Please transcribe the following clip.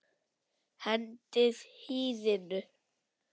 Hendið hýðinu.